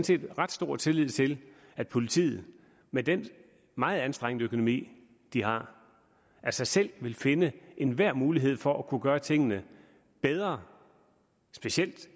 set ret stor tillid til at politiet med den meget anstrengte økonomi de har af sig selv vil finde enhver mulighed for at kunne gøre tingene bedre specielt